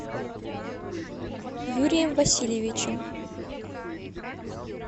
юрием васильевичем